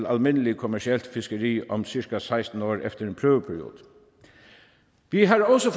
almindelig kommercielt fiskeri om cirka seksten år efter en prøveperiode vi har også